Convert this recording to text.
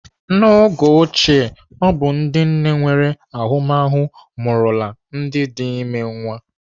N'oge ochie, ọ bụ ndị nne nwere ahụmahụ mụrụla ndị dị ime nwa.